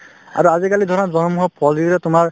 আৰু আজিকালি ধৰা জনম হওক তোমাৰ